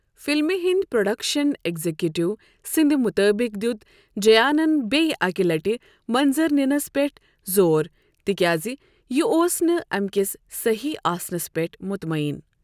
فِلمہِ ہِنٛدۍ production executive سٕنٛدِ مُطٲبِق دِیُت جَیانَن بیٚیہِ اَکہِ لٹہِ منظر نِنس پیٚٹھ زور تِکیازِ یہِ اوس نہٕ اَمہِ کِس صحیی آسنس پیٹھ مُطمعیٖن۔